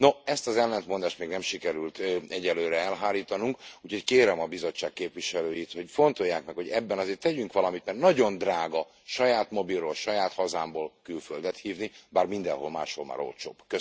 No, ezt az ellentmondást még nem sikerült egyelőre elhárítanunk, úgyhogy kérem a Bizottság képviselőit, hogy fontolják meg, hogy ebben azért tegyünk valamit, mert nagyon drága saját mobilról, saját hazámból külföldet hívni, bár mindenhol máshol már olcsóbb.